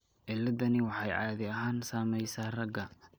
Ciladdani waxay caadi ahaan saamaysaa ragga.